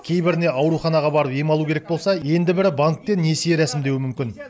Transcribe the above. кейбіріне ауруханаға барып ем алу керек болса енді бірі банкте несие рәсімдеуі мүмкін